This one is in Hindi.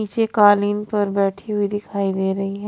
नीचे कालीन पर बैठी हुई दिखाई दे रही।